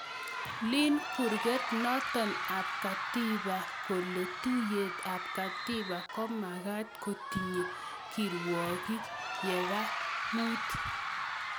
Leen kurgeet nootok ap katiba kole tuuiyeet ap katiba komagaat kotinyee kirwookik yeeba muut